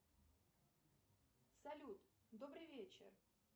салют добрый вечер